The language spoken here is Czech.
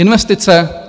Investice.